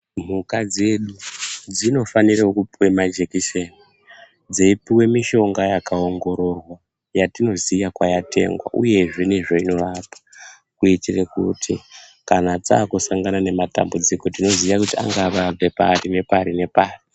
Mhuka dzedu dzinofanirewo kupuwa majekiseni dzeipiwe mishonga yakaongororwa yatinozoya kwayatengwa uyezve nezveinorapa kuitira kuti takusangana nematambudziko tinoziya kuti angava abva pari nepari nepari.